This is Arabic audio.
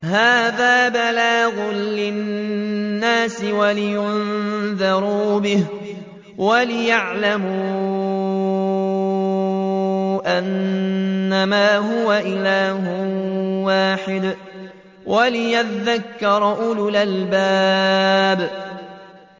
هَٰذَا بَلَاغٌ لِّلنَّاسِ وَلِيُنذَرُوا بِهِ وَلِيَعْلَمُوا أَنَّمَا هُوَ إِلَٰهٌ وَاحِدٌ وَلِيَذَّكَّرَ أُولُو الْأَلْبَابِ